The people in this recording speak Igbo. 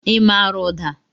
I maara ụda?